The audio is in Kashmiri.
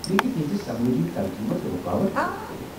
یہِ ہیكہِ تہنٛزِ سمٲجی ترقی منٛز رُکاوٹھ پٲدٕ كرِتھ ۔